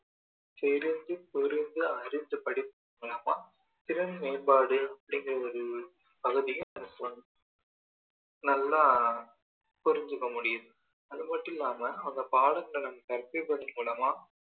தெரிந்து புரிந்து அறிந்து படிக்குறது மூலயமா திறன் மேம்பாடு அப்படிங்கிற ஒரு பகுதிய நல்லா புரிஞ்சுக்க முடியுது அது மட்டும் இல்லாம அந்த பாடங்கள நம்ம கற்பிப்பது மூலமா